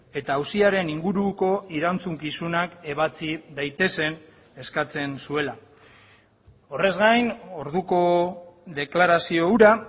eta auziaren inguruko erantzukizunak ebatsi daitezen eskatzen zuela horrez gain orduko deklarazio hura